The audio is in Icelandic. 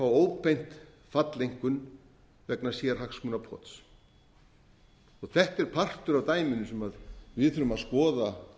óbeint falleinkunn vegna sérhagsmunapots þetta er partur af dæminu sem við þurfum að skoða